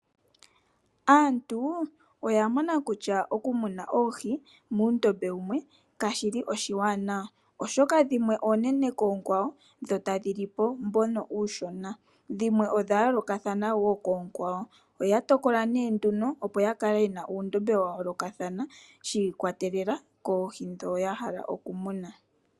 Aantu oya mona kutya okumuna oohi muundombe wumwe kashi li nawa, oshoka dhimwe oonene koonkwawo dho tadhi li po ndhoka oonshona. Dhimwe odha yooloka wo koonkwawo. Oya tokola nduno opo ya kale ye na uundombe wa yoolokathana, shi ikwatelela koohi ndhoka ya hala okumuna.